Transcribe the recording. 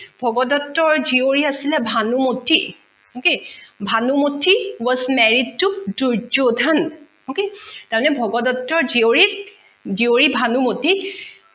ভগদট্তৰ জিয়ৰী আছিলে Bhanumati okay bhanumati was married to durjodhan তাৰ মানে ভগদট্তৰ জিয়ৰী জিয়ৰী ভানুমতি